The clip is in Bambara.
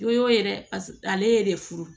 Do y'o ye dɛ ale de furu